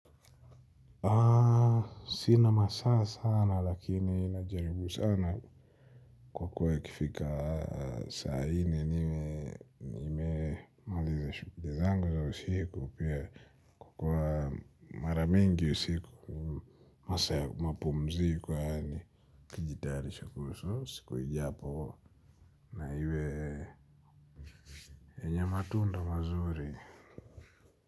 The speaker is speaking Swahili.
Aaa sina masaa sana lakini najaribu sana kwa kuwa kifika aa saa hiii nime nime maliza shuguli zangu za usiku pia kwa maramingi usiku masaa ya mapumziko yaani ukijitarisha kuhusu siku hijapo na iwe enya matunda mazuri.